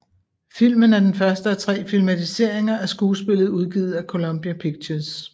Filmen er den første af tre filmatiseringer af skuespillet udgivet af Columbia Pictures